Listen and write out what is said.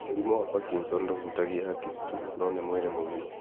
Mũrimũ wa Parkinson ndũhutagia hakiri tu, no nĩ mwĩrĩ mũgima